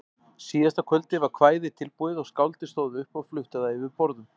Síðasta kvöldið var kvæðið tilbúið og skáldið stóð upp og flutti það yfir borðum.